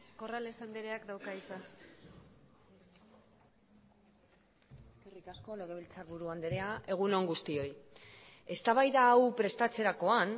corrales andreak dauka hitza eskerrik asko legebiltzarburu andrea egun on guztioi eztabaida hau prestatzerakoan